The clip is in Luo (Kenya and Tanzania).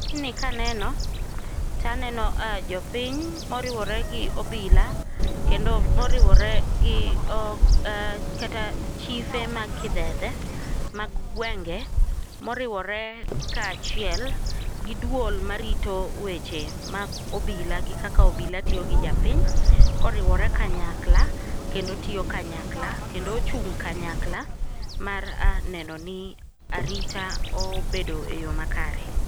Tijni kaneno taneno jopiny moriwore gi obila kendo moriwore gi chife mag kidhedhe mag gwenge moriwore kaachiel gi duol marito weche mag obila gi kaka obila tiyo gi japiny, koriwore kanyakla kendo tiyo kanyakla kendo ochung' kanyakla mar neno ni arita obedo eyo makare.